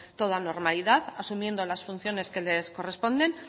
toda normalidad asumiendo las funciones que les corresponden